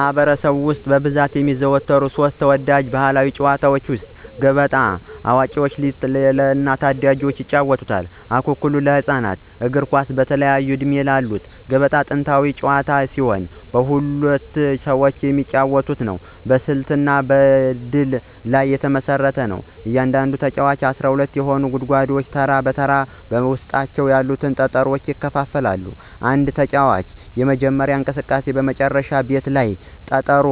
በማኅበረሰብ ውስጥ በብዛት የሚዘወተሩ ሦስት ተወዳጅ ባሕላዊ ጨዋታዎች፦ ገበጣ (ለአዋቂዎችና ለታዳጊዎች) ፣አኩኩሉ (ለህፃናት)፣ እግር ኳስ (በተለያየ ዕድሜ)። ገበጣ ጥንታዊ ጨዋታ ሲሆን በሁለት ሰዎች የሚጫወት ነው። በስልትና በእድል ላይ የተመሰረተ ነው። እያንዳንዱ ተጫዋች 12 የሆኑትን ጉድጓዶች ተራ በተራ በውስጣቸው ያሉትን ጠጠሮች ያከፋፍላል። አንድ ተጫዋች የጀመረው እንቅስቃሴ በመጨረሻው ቤት ላይ ጠጠር